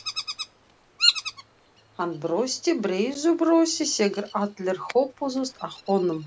Hann brosti breiðu brosi þegar allir hópuðust að honum.